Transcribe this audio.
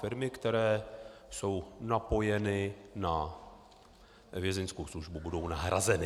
Firmy, které jsou napojeny na Vězeňskou službu, budou nahrazeny.